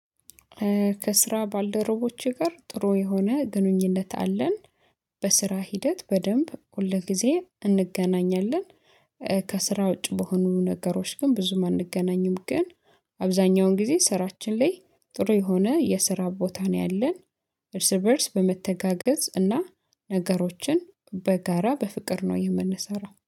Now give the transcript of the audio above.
ከስራ ባለደረቦች ጋር ጥሩ የሆነ ግንኙነት አለን። በስራ ሂደት በደንብ ሁል ጊዜ እንገናኛለን። ከስራ ውጪ በሆኑ ነገሮች ግን ብዙም አንገናኝም ግን። አብዛኛውን ጊዜ ስራችን ላይ ጥሩ የሆነ የስራ ቦታ ነው ያለን። እርስ በእርስ በመተጋገዝ እና ነገሮችን በጋራ በፍቅር ነው የምንሰራው